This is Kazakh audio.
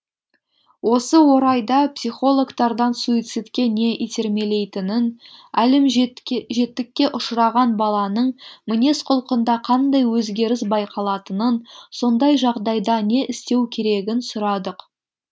осы орайда психологтардан суицидке не итермелейтінін әлімжеттікке ұшыраған баланың мінез құлқында қандай өзгеріс байқалатынын сондай жағдайда не істеу керегін сұрадық